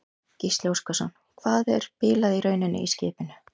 Gísli Óskarsson: Hvað er bilað í rauninni í skipinu?